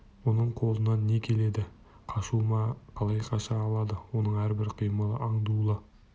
оның қолынан не келеді қашу ма қалай қаша алады оның әрбір қимылы аңдулы